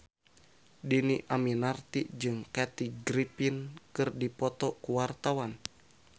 Dhini Aminarti jeung Kathy Griffin keur dipoto ku wartawan